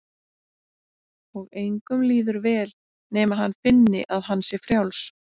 Og engum líður vel nema hann finni að hann sé frjáls.